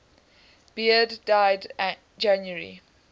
beard died january